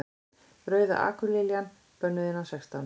Rauða akurliljan. bönnuð innan sextán